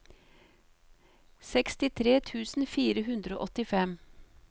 sekstitre tusen fire hundre og åttifem